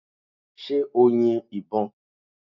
Ṣé o yin ìbo?